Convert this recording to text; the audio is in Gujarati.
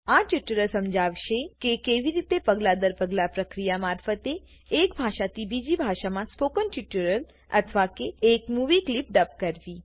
આ ટ્યુટોરીયલ સમજાવશેકેકેવી રીતે પગલા દર પગલા પ્રક્રિયા મારફતે એક ભાષાથી બીજી ભાષામાં સ્પોકન ટ્યુટોરીયલ અથવા કે એક મુવી કલીપ ડબ કરવી